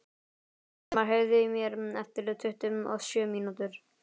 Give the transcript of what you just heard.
Hólmar, heyrðu í mér eftir tuttugu og sjö mínútur.